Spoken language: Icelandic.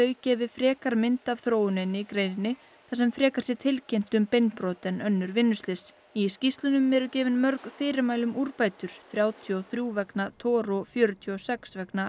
gefi frekar mynd af þróuninni í greininni þar sem frekar sé tilkynnt um beinbrot en önnur vinnuslys í skýrslunum eru gefin mörg fyrirmæli um úrbætur þrjátíu og þrjú vegna TOR og fjörutíu og sex vegna